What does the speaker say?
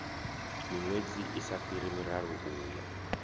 miṅwedzi isa fhiri miraru uya